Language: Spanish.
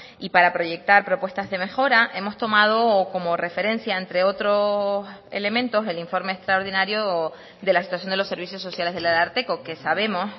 y para proyectar propuestas de mejora hemos tomado como referencia entre otros elementos el informe extraordinario de la situación de los servicios sociales del ararteko que sabemos